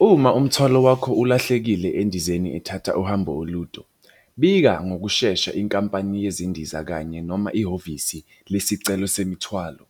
Uma umthwalo wakho ulahlekile endizeni ethatha uhambo olude, bika ngokushesha inkampani yezindiza kanye noma ihhovisi lesicelo semithwalo.